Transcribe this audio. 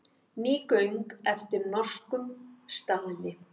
Ný göng eftir norskum staðli